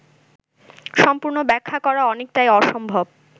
সম্পূর্ণ ব্যাখ্যা করা অনেকটাই অসম্ভব